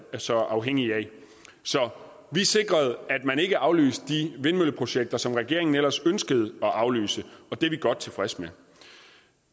så afhængige af så vi sikrede at man ikke aflyste de vindmølleprojekter som regeringen ellers ønskede at aflyse og det er vi godt tilfredse med